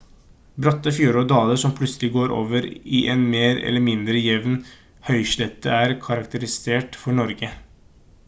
bratte fjorder og daler som plutselig går over i en mer eller mindre jevn høyslette er karakteristisk for norge